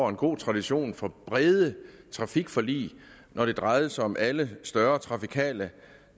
en god tradition for brede trafikforlig når det drejer sig om alle større trafikale